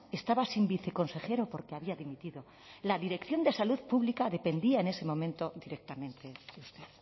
estaba sin viceconsejero porque había dimitido la dirección de salud pública dependía en ese momento directamente de usted